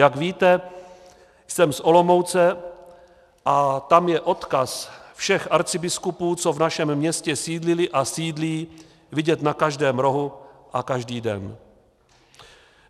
Jak víte, jsem z Olomouce a tam je odkaz všech arcibiskupů, co v našem městě sídlili a sídlí, vidět na každém rohu a každý den.